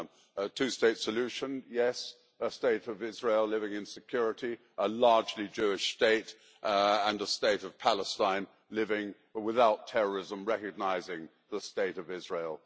A two state solution, yes a State of Israel living in security as a largely Jewish state, and a State of Palestine living without terrorism and recognising the State of Israel.